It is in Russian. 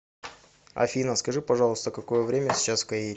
афина скажи пожалуйста какое время сейчас в каире